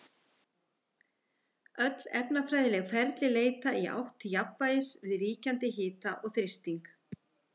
Öll efnafræðileg ferli leita í átt til jafnvægis við ríkjandi hita og þrýsting.